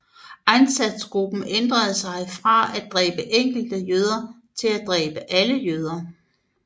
Einsatzgruppen ændrede sig fra at dræbe enkelte jøder til at dræbe alle jøder